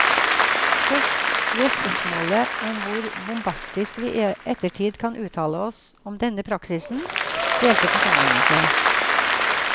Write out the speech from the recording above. Først ved spørsmålet om hvor bombastisk vi i ettertid kan uttale oss om denne praksisen, delte forsamlingen seg.